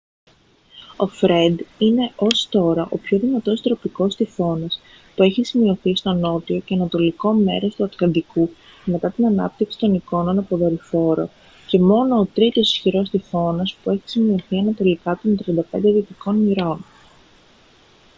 ο φρεντ είναι ως τώρα ο πιο δυνατός τροπικός τυφώνας που έχει σημειωθεί στο νότιο και ανατολικό μέρος του ατλαντικού μετά την ανάπτυξη των εικόνων από δορυφόρο και μόνο ό τρίτος ισχυρός τυφώνας που έχει σημειωθεί ανατολικά των 35 δυτικών μοιρών